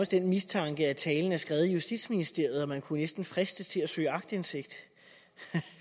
den mistanke at talen er skrevet af justitsministeriet og man kunne næsten fristes til at søge aktindsigt